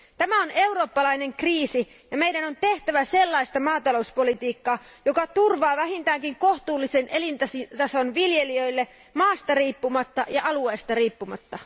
Tämä on eurooppalainen kriisi ja meidän on tehtävä sellaista maatalouspolitiikkaa, joka turvaa vähintäänkin kohtuullisen elintason viljelijöille maasta riippumatta ja alueesta riippumatta.